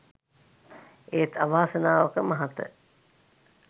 ඒත් අවාසනාවක මහත